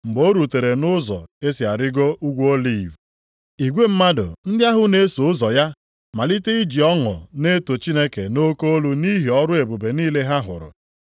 Mgbe o rutere nʼụzọ e si arịgo Ugwu Oliv, igwe mmadụ ndị ahụ na-eso ụzọ ya malite iji ọṅụ na-eto Chineke nʼoke olu nʼihi ọrụ ebube niile ha hụrụ,